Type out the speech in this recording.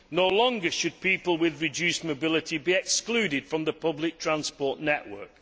no longer should people with reduced mobility be excluded from the public transport network.